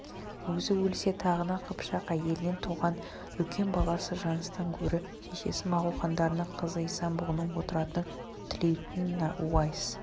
өзі өлсе тағына қыпшақ әйелінен туған үлкен баласы жұныстан гөрі шешесі моғол хандарының қызы исан-бұғының отыратынын тілейтін уайс